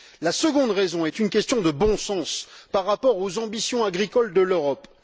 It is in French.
La seconde raison est une question de bon sens par rapport aux ambitions agricoles de l'Europe.